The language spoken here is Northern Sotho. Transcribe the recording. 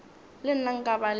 le nna nka ba le